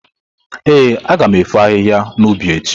Ee, aga m efo ahịhịa n’ubi echi.